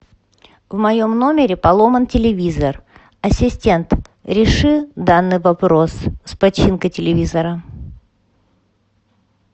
в моем номере поломан телевизор ассистент реши данный вопрос с починкой телевизора